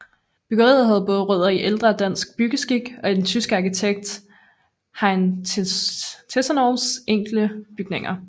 Byggeriet havde både rødder i ældre dansk byggeskik og i den tyske arkitekt Heinrich Tessenows enkle bygninger